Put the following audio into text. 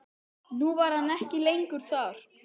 Nú var hann ekki lengur þar.